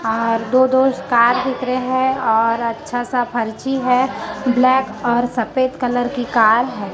और दो दो स्कार दिख रहे हैं और अच्छा सा फर्ची है ब्लैक और सफेद कलर की कार है।